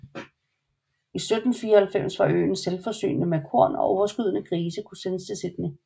I 1794 var øen selvforsynende med korn og overskydende grise kunne sendes til Sydney